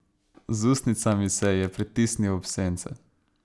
Z ustnicami se ji je pritisnil ob sence.